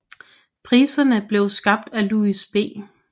Priserne blev skabt af Louis B